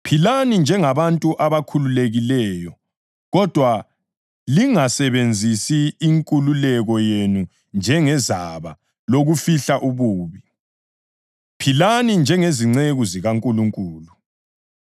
Philani njengabantu abakhululekileyo, kodwa lingasebenzisi inkululeko yenu njengezaba lokufihla ububi; philani njengezinceku zikaNkulunkulu.